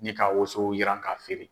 Ni ka woso yiran k'a feere.